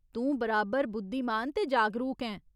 तूं बराबर बुद्धिमान ते जागरूक ऐं।